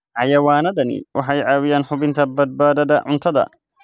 Xayawaanadani waxay caawiyaan hubinta badbaadada cuntada.